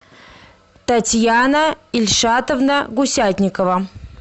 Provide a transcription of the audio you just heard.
татьяна ильшатовна гусятникова